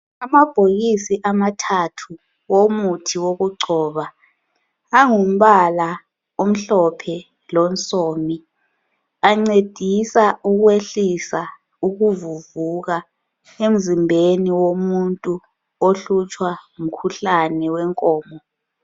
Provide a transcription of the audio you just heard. Amabhokisi amathathu womuthi wokugcoba, angumbala omhlophe lonsomi, ancedisa ukwehlisa ukuvuvuka emzimbeni womuntu ohlutshwa ngomkhuhlane wenkomo.